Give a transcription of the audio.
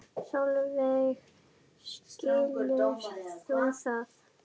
Sólveig: Skilur þú það?